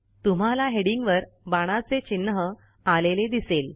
तुम्हाला हेडिंगवर बाणाचे चिन्ह आलेले दिसेल